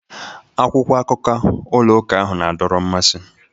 Akwụkwọ akụkọ ụlọ ụka ahụ na-adọrọ mmasị.